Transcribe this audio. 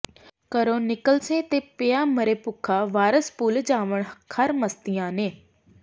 ਘਰੋਂ ਨਿਕਲਸੈਂ ਤੇ ਪਿਆ ਮਰੇਂ ਭੁੱਖਾ ਵਾਰਸ ਭੁਲ ਜਾਵਨ ਖ਼ਰ ਮਸਤੀਆਂ ਨੇ